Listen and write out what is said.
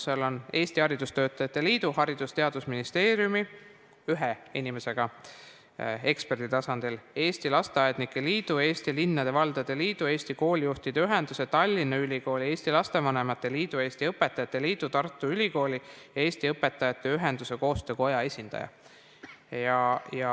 Seal on Eesti Haridustöötajate Liidu, Haridus- ja Teadusministeeriumi , Eesti Lasteaednike Liidu, Eesti Linnade ja Valdade Liidu, Eesti Koolijuhtide Ühenduse, Tallinna Ülikooli, Eesti Lastevanemate Liidu, Eesti Õpetajate Liidu, Tartu Ülikooli ja Eesti Õpetajate Ühenduste Koostöökoja esindajad.